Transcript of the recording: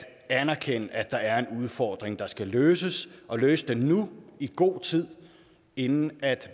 anerkende at der er en udfordring der skal løses og løses nu i god tid inden